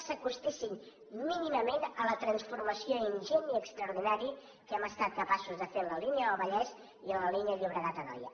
s’acostessin mínimament a la transformació ingent i extraordinària que hem estat capaços de fer en la línia del vallès i en la línia del llobregatanoia